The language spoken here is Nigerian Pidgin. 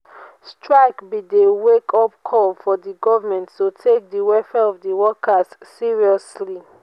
strike be di wake-up call for di government to take di welfare of di workers seriously.